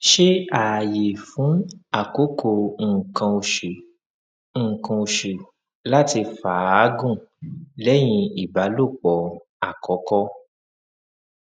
ṣe aaye fun akoko nkan osu nkan osu lati faagun lẹhin ibalopo akọkọ